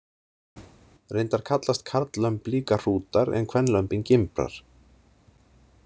Reyndar kallast karllömb líka hrútar en kvenlömbin gimbrar.